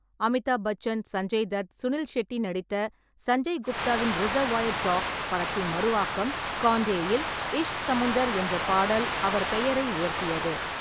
அமிதாப் பச்சன், சஞ்சய் தத், சுனில் ஷெட்டி நடித்த சஞ்சய் குப்தாவின் 'Reservoir Dogs' படத்தின் மறு ஆக்கம் 'கான்டே'-இல் 'இஷ்க் சமுந்தர்' என்ற பாடல் அவர் பெயரை உயர்த்தியது.